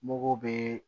Mugu bɛ